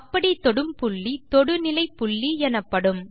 அப்படி தொடும் புள்ளி தொடுநிலைப்புள்ளி எனப்படும்